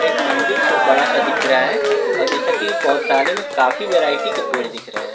एक मंदिर छो बड़ा सा दिख रहा है और जैसा की बहुत सारे में काफी वैरायटी के पेड़ दिख रहे हैं।